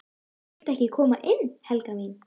VILTU EKKI KOMA INN, HELGA MÍN!